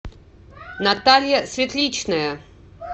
наталья светличная